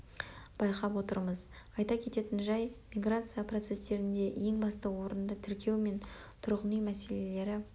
байқап отырмыз айта кететін жай миграция процестерінде ең басты орынды тіркеу мен тұрғын үй мәселелері